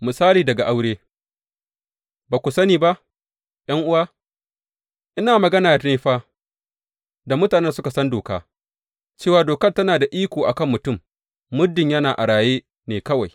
Misali daga aure Ba ku sani ba, ’yan’uwa, ina magana ne fa da mutanen da suka san doka, cewa dokar tana da iko a kan mutum muddin yana a raye ne kawai.